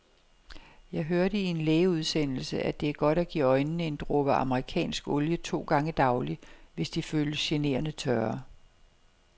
Jeg hørte i en lægeudsendelse, at det er godt at give øjnene en dråbe amerikansk olie to gange daglig, hvis de føles generende tørre.